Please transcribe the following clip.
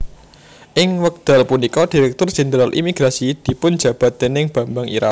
Ing wekdal punika Direktur Jenderal Imigrasi dipunjabat déning Bambang Irawan